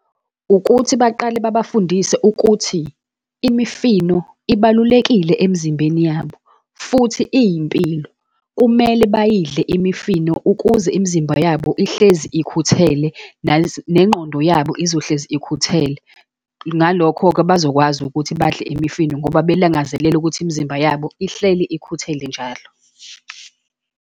Ukuthi baqale babafundise ukuthi imifino ibalulekile emzimbeni yabo, futhi iyimpilo. Kumele bayidle imifino ukuze imizimba yabo ihlezi ukhuthele, nengqondo yabo izohlezi ikhuthele. Ngalokho-ke bazokwazi ukuthi badle imifino, ngoba belangazelela ukuthi imizimba yabo ihleli ikhuthele njalo.